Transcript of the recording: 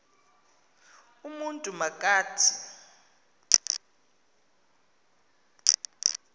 umntu ma kathi